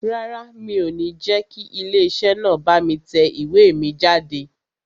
Rárá, mi ò ní jẹ́ kí ilé iṣẹ́ náà bá mi tẹ ìwé mi jáde